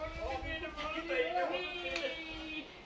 Mən bilmirəm, mən bilmirəm.